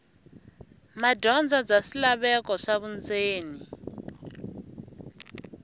madyondza bya swilaveko swa vundzeni